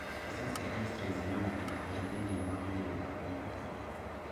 Mbica cia xray cionanagia ũrĩa thĩinĩ wa mwĩrĩ waku ũtarie.